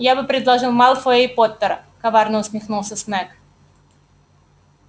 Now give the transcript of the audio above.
я бы предложил малфоя и поттера коварно усмехнулся снегг